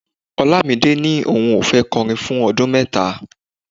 Olamide ní òun ò fẹ́ kọrin fún ọdún mẹ́ta.